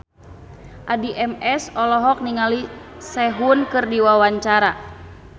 Addie MS olohok ningali Sehun keur diwawancara